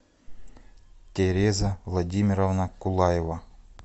тереза владимировна кулаева